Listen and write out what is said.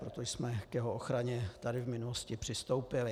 Proto jsme k jeho ochraně tady v minulosti přistoupili.